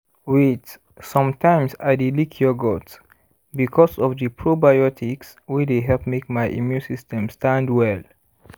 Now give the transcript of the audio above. wait sometimes i dey lick yogurt because of the probiotics wey dey help make my immune system stand well